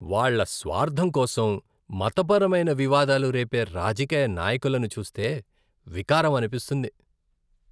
వాళ్ళ స్వార్ధం కోసం మతపరమైన వివాదాలు రేపే రాజకీయ నాయకులను చూస్తే వికారం అనిపిస్తుంది.